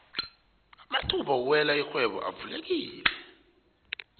amathuba wokuwena irhwebo avulekile